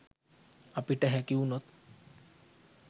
අපිට හැකි වුනොත්